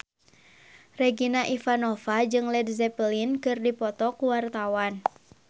Regina Ivanova jeung Led Zeppelin keur dipoto ku wartawan